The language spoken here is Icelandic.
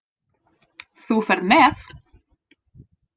Þú ferð með